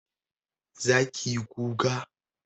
zaki yi kuka